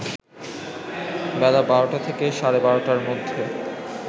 বেলা ১২টা থেকে সাড়ে ১২টার মধ্যে